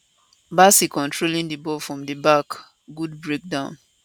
bassey controlling di ball from di back good breakdown